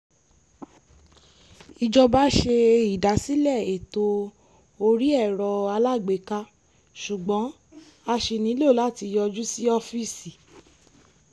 ìjọba ṣe ìdásílẹ̀ ètò orí ẹ̀rọ-alágbèéká ṣùgbọ́n a ṣì nílọ láti yọjú sí ọ́fíìsì